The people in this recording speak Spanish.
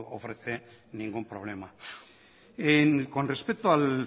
ofrece ningún problema con respecto al